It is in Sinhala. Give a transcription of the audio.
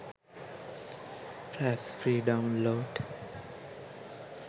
fraps free download